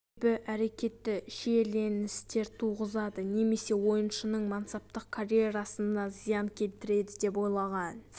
себебі әрекеті шиеленістер туғызады немесе ойыншының мансаптық карьерасына зиян келтіреді деп ойлаған